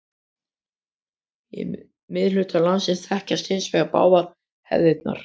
Í miðhluta landsins þekkjast hins vegar báðar hefðirnar.